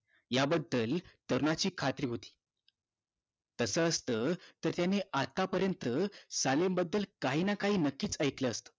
याबद्दल तरुणांची खात्री होती तास असत तर त्याने सालेनबध्दल काही ना काही नक्कीच ऐकलं असत